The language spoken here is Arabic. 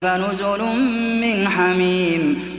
فَنُزُلٌ مِّنْ حَمِيمٍ